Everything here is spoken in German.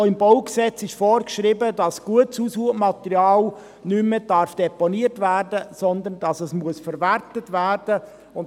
Auch im BauG ist vorgeschrieben, dass gutes Aushubmaterial nicht mehr deponiert werden darf, sondern dass es verwertet werden muss.